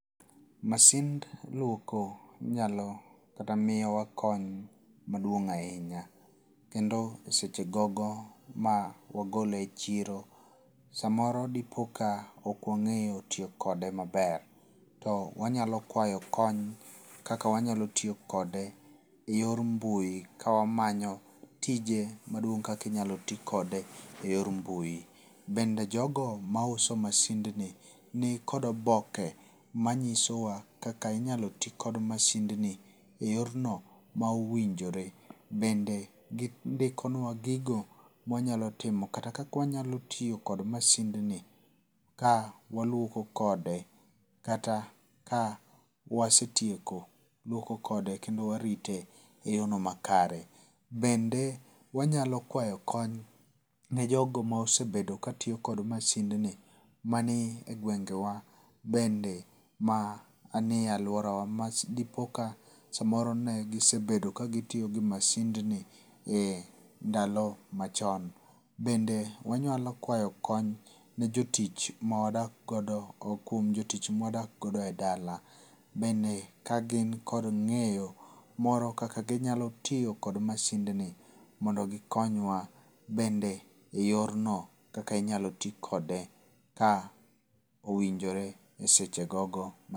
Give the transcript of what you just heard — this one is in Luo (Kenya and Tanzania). Masind luoko inyalo kata miyowa kony maduong' ahinya. Kendo e seche gogo ma wagole e chiro, samoro dipoka ok wang'eyo tiyo kode maber. To wanyalo kwayo kony kaka wanyalo tiyo kode e yor mbui ka wamanyo tije maduong' kaka inyalo ti kode e yor mbui. Bende jogo ma uso masind ni ni kod oboke manyiso wa kaka inyalo yi kod masind ni e yorno ma owinjore. Bende gindikonwa gigo ma wanyalo timo kata kaka wanyalo tiyo kod masind ni ka waluoko kode. Kata ka wasetieko luoko kode kendo warite e yorno makare. Bende wanyalo kwayo kony ne jogo mosebedo ka tiyo kod masind ni ma ni e gwenge wa bende ma ni e aluora wa ma dipoka samoro ne gisebedo ka gitiyo kod masind ni e ndalo machon. Bende wanyalo kwayo kony ne jotich ma wadak godo kuom jotich ma wadak godo e dala bende ka gin kod ng'eyo moro kaka ginyalo tiyo kod masind ni mondo gikonywa bende e yor no kaka inyalo ti kode ka owinjore e seche gogo.